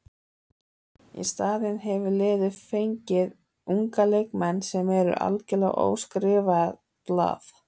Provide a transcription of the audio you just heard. Í staðinn hefur liðið fengið unga leikmenn sem eru algjörlega óskrifað blað.